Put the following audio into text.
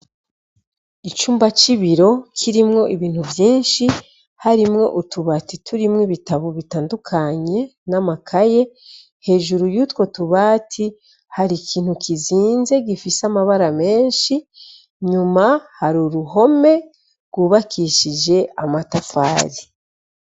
Icumba c'ibiro kirimwo ibintu vyinshi. Harimwo utubati turimwo ibitabo bitandukanye n'amakaye. Hejuru yutwo tubati hari ikintu kizinze gifise amabara menshi. Nyuma hari uruhome rwubakishije amatafari.